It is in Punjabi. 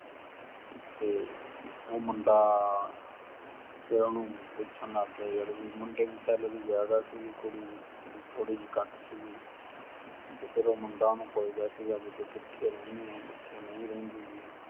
ਤੇ ਉਹ ਮੁੰਡਾ ਤੇ ਉਹਨੂੰ ਪੁੱਛਣ ਲੱਗ ਗਿਆ ਯਾਰ ਵੀ ਮੁੰਡੇ ਦੀ salary ਜਿਆਦਾ ਸੀਗੀ ਤੇ ਕੁੜੀ ਦੀ ਥੋੜੀ ਜੀ ਘੱਟ ਸੀਗੀ। ਤੇ ਮੁੰਡਾ ਉਹਨੂੰ ਪੁੱਛਦਾ ਸੀਗਾ ਵੀ ਤੂੰ ਕਿੱਥੇ ਰਹਿੰਦੀ ਏ, ਕਿੱਥੇ ਨਹੀਂ ਰਹਿੰਦੀ ਗੀ।